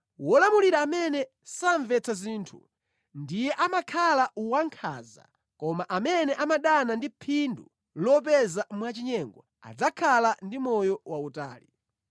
Wolamulira amene samvetsa zinthu ndiye amakhala wankhanza koma amene amadana ndi phindu lopeza mwachinyengo adzakhala ndi moyo wautali.